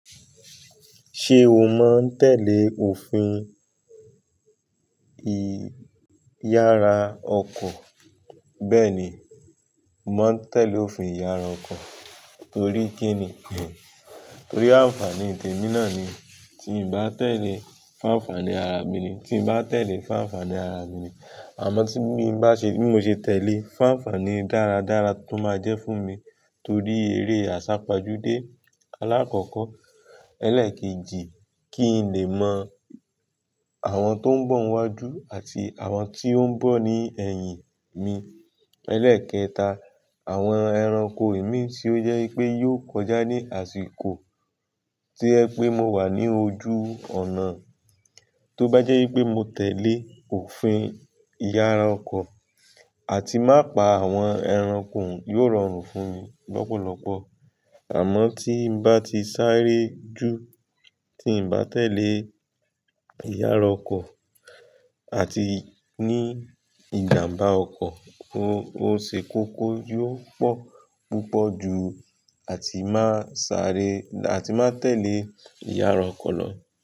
Ṣé o máa ń tẹ̀lé òfin ìyara ọkọ̀? Bẹ́ẹ̀ni, mò ma ń tẹ̀lé òfin ìyara ọkọ̀. Torí kíni? Torí àǹfààní tèmi náà ni. Tií n bá tẹ̀lé, fún àǹfààní ara mi ni. Tí n bá tẹ̀lé, fún àǹfààní ara mi ni. Àmọ́ tí mí ba se bi mo ṣe tẹ̀lé, fún àǹfààní dáradára tó máa jẹ́ fún mi torí eré àsápajúdé alákọ̀ọ́kọ́. Ẹlẹ́ẹ̀kejì, kí n lè mọ àwọn tó ń bọ̀ n wájú àti àwọn tó ń bọ̀ ní ẹ̀yìn mi. Ẹlẹ́ẹ̀kẹta, àwọn ẹranko ìmí tí ó jẹ́ wipé yó kọjá ní àsìkò tí o je pé mo wà ní ojú ònà, tó bá jẹ́ wipé mo tẹ̀lé òfin ìyara ọkọ̀ àti má pa àwọn ẹranko, yóò rọrùn fún mi lọ́pọ̀lọ́pọ̀. Àmọ́ tí n bá ti sáré jù, tí n bá tẹ̀lé ìyára ọkọ̀ àti ní ìjàmbá ọkọ̀, o òṣèkókó yóò pọ̀ púpọ̀ jù àti máa tẹ̀lé ìyára ọkọ̀ lọ.